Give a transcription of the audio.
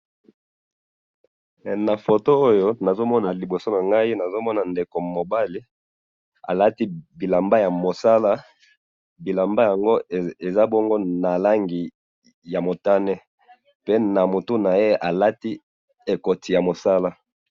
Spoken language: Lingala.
na photo oyo nazomona liboso nangai nazomona ndeko mobali alati bilamba ya mosala bilamba yango eza bongo na rangi ya motame pe na mtu naye alati ekoti ya mosala